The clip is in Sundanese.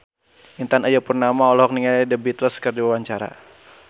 Intan Ayu Purnama olohok ningali The Beatles keur diwawancara